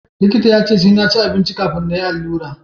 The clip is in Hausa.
likita ya ce sai na ci abinci kafin na yi allura